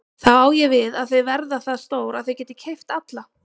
Þá á ég við að þau verða það stór að þau geti keypt alla?